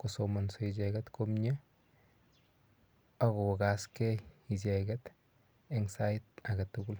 kosomonso icheket komie akokasgei icheket eng sait aketugul